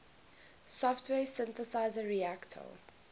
software synthesizer reaktor